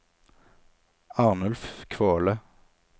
Arnulf Kvåle